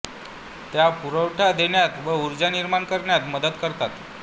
त्या पुरवठा घेतात व ऊर्जा निर्माण करण्यात मदत करतात